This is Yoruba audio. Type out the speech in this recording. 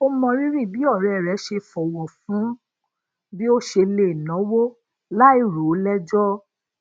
ó mọrírì bí òré rè ṣe fòwò fún bi o se le nawo lai ro o lejo